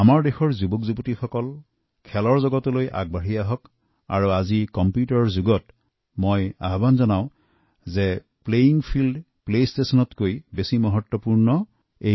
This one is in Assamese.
আমাৰ দেশৰ তৰুণ প্ৰজন্ম খেলৰ জৰিয়তে আগুৱাই যাওক আৰু আজি কম্পিউটাৰৰ যুগত মই এই বিষয়তো সজাগ কৰিব বিচাৰো যে প্লেয়িং ফিল্ড প্লেষ্টেচনতকৈ অধিক গুৰুত্বপূৰ্ণ